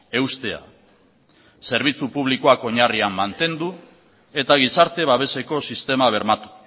eustea zerbitzu publikoak oinarrian mantendu eta gizarte babeseko sistema bermatu